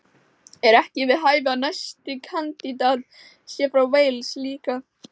Er ekki við hæfi að næsti kandídat sé frá Wales líka??